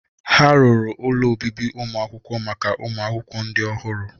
Ha ruru ụlọ obibi ụmụ akwụkwọ maka ụmụ akwụkwọ ndị ọhụrụ.